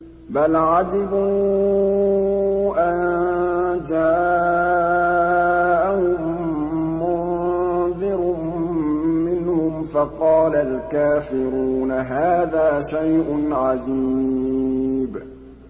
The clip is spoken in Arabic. بَلْ عَجِبُوا أَن جَاءَهُم مُّنذِرٌ مِّنْهُمْ فَقَالَ الْكَافِرُونَ هَٰذَا شَيْءٌ عَجِيبٌ